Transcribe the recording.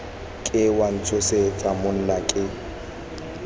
ke wa ntshosetsa monna ke